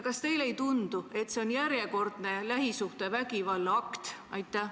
Kas teile ei tundu, et see on järjekordne lähisuhtevägivalla akt?